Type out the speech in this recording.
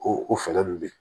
O o fɛɛrɛ ninnu bɛ yen